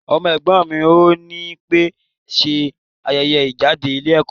Ọmọ ẹ̀gbọ́n mi ò ní pẹ̀ ṣe ayẹyẹ ìjáde ilé ẹ̀kọ́.